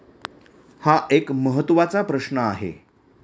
हा एक महत्वाचा प्रश्न आहे.